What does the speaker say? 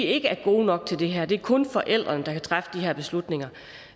ikke er gode nok til det her at det kun er forældrene der kan træffe de her beslutninger